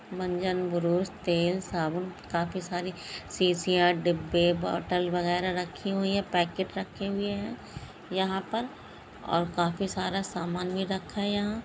मंजन ब्रुश तेल साबुन काफी सारी शीशियाँ डिब्बे बॉटल वगैरह रखी हुई हैं पैकेट रखे हुए हैं यहाँ पर और काफी सारा सामान भी रखा है यहाँ ।